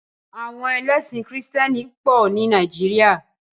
Àwọn ẹlẹ́sìn krìstẹ́nì pọ̀ ní Nàìjíríà.